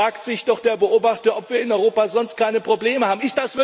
Da fragt sich der Beobachter doch, ob wir in Europa sonst keine Probleme haben.